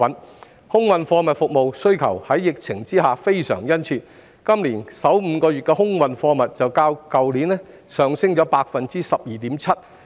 疫情下的空運貨物服務需求殷切，今年首5個月的空運貨物便較去年上升 12.7%。